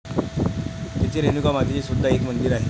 तेथे रेणुका मातेचे सुद्धा एक मंदिर आहे.